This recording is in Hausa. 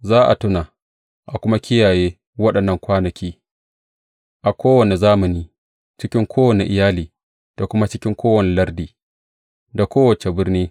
Za a tuna, a kuma kiyaye waɗannan kwanaki a kowane zamani, cikin kowane iyali, da kuma cikin kowane lardi, da kowace birni.